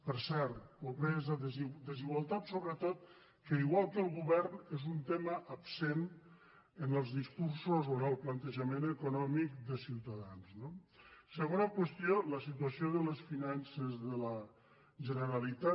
per cert pobresa desigualtats so·bretot que igual que el govern és un tema absent en els discursos o en el plantejament econòmic de ciuta·dans no la segona qüestió és la situació de les finances de la generalitat